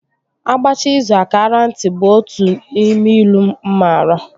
A gbachaa izù a kaara nti, is one of the proverbs that I know